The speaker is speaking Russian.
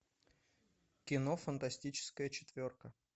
кино фантастическая четверка